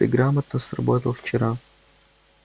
ты грамотно сработал вчера